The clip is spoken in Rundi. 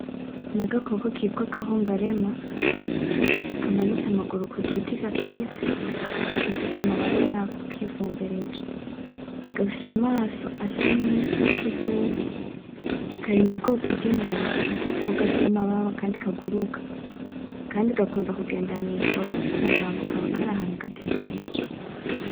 Nagakoko kitwa agahungarema, kamanitse amaguru kugiti gacuritse, kifutse amababa yako kifumbereje, gafise amaso asa nk'ikivuvu, kari mubwoko bwibemba nuko koko gafise amababa kandi kaguruka, kandi gakunda kugenda mwijoro kumurango kaba kari ahantu gatekereje.